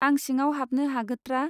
आं सिङाव हाबनो हागोत्रा.